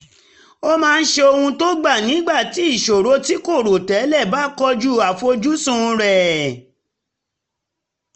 ó máa ń ṣe ohun tó gbà nígbà tí ìṣòro tí kò rò tẹ́lẹ̀ bá kojú àfojúsùn rẹ̀